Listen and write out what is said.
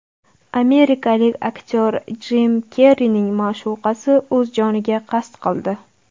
Amerikalik aktyor Jim Kerrining ma’shuqasi o‘z joniga qasd qildi.